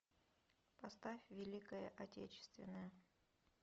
поставь великая отечественная